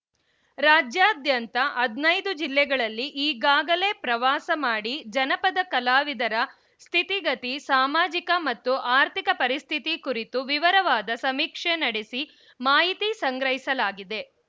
ರಾಜ್ಯಾದ್ಯಂತ ಹನೈದು ಜಿಲ್ಲೆಗಳಲ್ಲಿ ಈಗಾಗಲೇ ಪ್ರವಾಸ ಮಾಡಿ ಜನಪದ ಕಲಾವಿದರ ಸ್ಥಿತಿಗತಿ ಸಾಮಾಜಿಕ ಮತ್ತು ಆರ್ಥಿಕ ಪರಿಸ್ಥಿತಿ ಕುರಿತು ವಿವರವಾದ ಸಮೀಕ್ಷೆ ನಡೆಸಿ ಮಾಹಿತಿ ಸಂಗ್ರಹಿಸಲಾಗಿದೆ